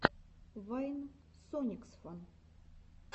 вайн сониксфан